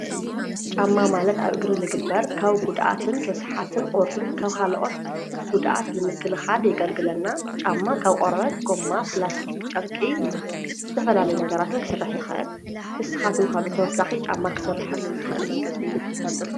ጫማ ማለት ኣብ እግሪ ልግበር ካብ ጕድኣትን ርሳሓትን ቁርን ካብ ኻልኦት ጕድኣት ልምክልኻል የገልግለና፡፡ ጫማ ካብ ቖረበት፣ ጐማ፣ ኘላስቲኽ ፣ጨርቂ ዝተፈላለየ ነገራትን ክሥርሕ ይኸአል፡፡ ንስኻትኩም ከ ብተወሳኺ ጫማ ኽስርሐሎ ዝኽእል መንገዲ ትፈልጡ ዶ?